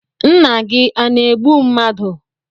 Nna gi a na-egbu mmadu?